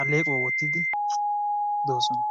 alleequwa wottidi doosona.